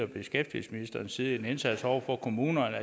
beskæftigelsesministerens side en indsats over for kommunerne